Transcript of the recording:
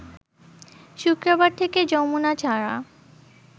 শুক্রবার থেকে যমুনা ছাড়া